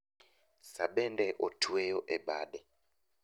Saa bende otueyo e bade.